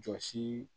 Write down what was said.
Jɔsi